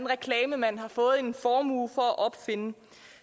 reklamemand har fået en formue for at opfinde